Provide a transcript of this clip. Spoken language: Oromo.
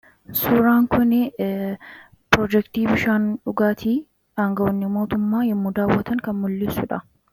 suuraan kuni piroojektii bishaan dhugaatii aangawoonni mootummaa yommu daawwatan kan mul'ieesuudha